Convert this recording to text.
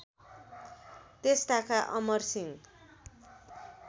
त्यस ताका अमरसिंह